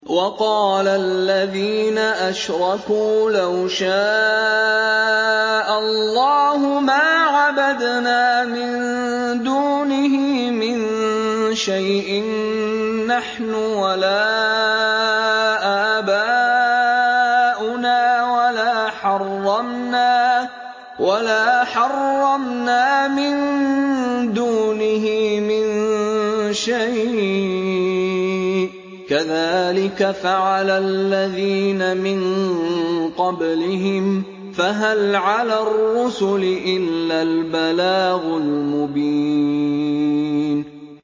وَقَالَ الَّذِينَ أَشْرَكُوا لَوْ شَاءَ اللَّهُ مَا عَبَدْنَا مِن دُونِهِ مِن شَيْءٍ نَّحْنُ وَلَا آبَاؤُنَا وَلَا حَرَّمْنَا مِن دُونِهِ مِن شَيْءٍ ۚ كَذَٰلِكَ فَعَلَ الَّذِينَ مِن قَبْلِهِمْ ۚ فَهَلْ عَلَى الرُّسُلِ إِلَّا الْبَلَاغُ الْمُبِينُ